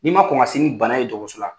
N'i ma kɔn ka se ni bana ye dɔgɔtɔrɔso la